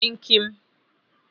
kim kim